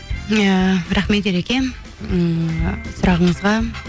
иә рахмет ереке ммм сұрағыңызға